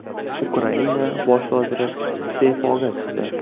Ukraina bosh vaziri iste’foga chiqdi .